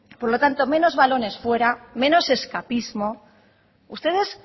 por lo tanto menos balones fuera menos escapismo ustedes